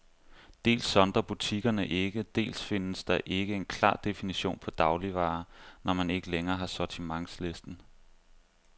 Dels sondrer butikkerne ikke, dels findes der ikke en klar definition på dagligvarer, når man ikke længere har sortimentslisten.